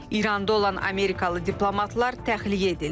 İranda olan Amerikalı diplomatlar təxliyə edildi.